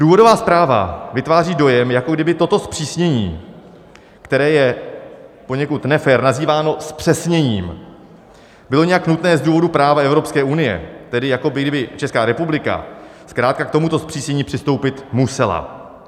Důvodová zpráva vytváří dojem, jako kdyby toto zpřísnění, které je poněkud nefér nazýváno zpřesněním, bylo nějak nutné z důvodu práva Evropské unie, tedy jako kdyby Česká republika zkrátka k tomuto zpřísnění přistoupit musela.